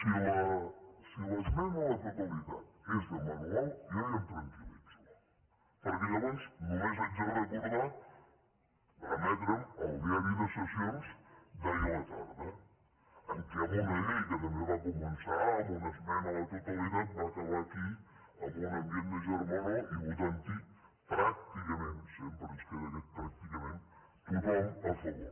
bé si l’esmena a la totalitat és de manual jo ja em tranquil·litzo perquè llavors només haig de recordar remetre’m al diari de sessions d’ahir a la tarda en què en una llei que també va començar amb una esmena a la totalitat va acabar aquí amb un ambient de germanor i votant hi pràcticament sempre ens queda aquest pràcticament tothom a favor